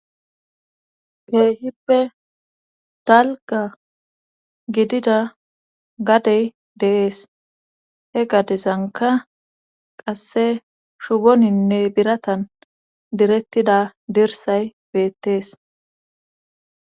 Keehippe dalga gidida gadey deees he gadezanka qasse shugoninne biratan direttida dirsay beettees